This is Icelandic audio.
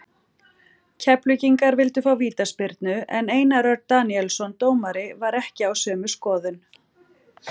Keflvíkingar vildu fá vítaspyrnu en Einar Örn Daníelsson dómari var ekki á sömu skoðun.